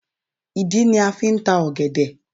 Ìdí ni a fi ń ta ọ̀gẹ̀dẹ̀